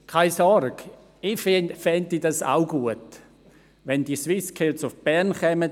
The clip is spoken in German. Seien Sie unbesorgt: Ich fände es auch gut, wenn die SwissSkills nach Bern kämen.